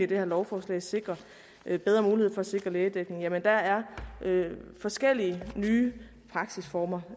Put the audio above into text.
det her lovforslag sikrer bedre mulighed for at sikre lægedækning jamen der er forskellige nye praksisformer